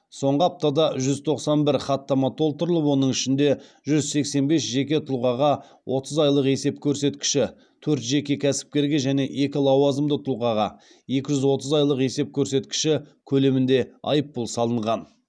соңғы аптада жүз тоқсан бір хаттама толтырылып оның ішінде жүз сексен бес жеке тұлғаға отыз айлық есеп көрсеткіші төрт жеке кәсіпкерге және екі лауазымды тұлғаға екі жүз отыз айлық есеп көрсеткіші көлемінде айыппұл салынған